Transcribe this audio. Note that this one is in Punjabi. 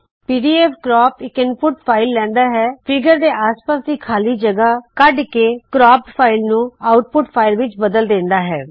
ਪੀਡੀਐਫ ਕਰੈਪ ਇਕ ਇਨਪੁਟ ਫ਼ਾਇਲ ਲੈਂਦਾ ਹੈ ਫ਼ੀਗਰ ਦੇ ਆਸ ਪਾਸ਼ ਦੀ ਖ਼ਾਲੀ ਜਗਹ ਕੱਢ ਕੇ ਕਰੌਪ੍ਡ ਫ਼ਾਇਲ ਨੂ ਆਉਟਪੁਟ ਫ਼ਾਇਲ ਵਿੱਚ ਬਦਲ ਦੇਂਦਾ ਹੈ